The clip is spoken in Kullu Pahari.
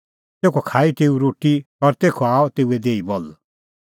तेखअ खाई तेऊ रोटी और तेखअ आअ तेऊए देही बल सह रहअ कई धैल़ै तैणीं तिन्नां च़ेल्लै संघै ज़ुंण दमिश्क नगरी तै